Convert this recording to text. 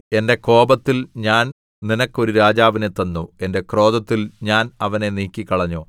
എന്റെ കോപത്തിൽ ഞാൻ നിനക്ക് ഒരു രാജാവിനെ തന്നു എന്റെ ക്രോധത്തിൽ ഞാൻ അവനെ നീക്കിക്കളഞ്ഞു